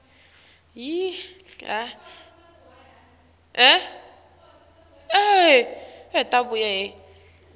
nekutsi tikuphi letinye tindzawo